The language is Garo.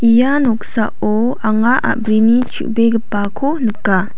ia noksao anga a·brini chubegipako nika.